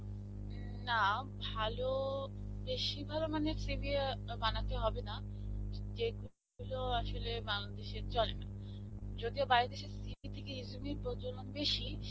না, ভালো বেশী ভালো মানের CV অ্যাঁ বানাতে হবেনা. যেগুলো আসলে বাংলাদেশে চলেনা. যদিও বাইরের দেশে CV থেকে resume এর প্রচলন বেশী.